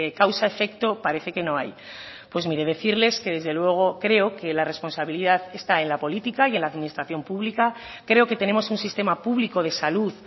causa efecto parece que no hay pues mire decirles que desde luego creo que la responsabilidad está en la política y en la administración pública creo que tenemos un sistema público de salud